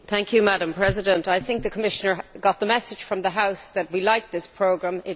Madam President, I think the Commissioner got the message from the House that we like this programme.